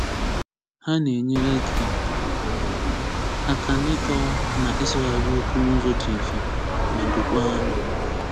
Ha na-enyere gị aka n'ịkọwa na ịsụghari okwu n'ụzọ dị mfe ma dookwa anya.